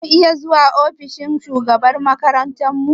Za mu iya zuwa ofishin shugabar makarantar mu?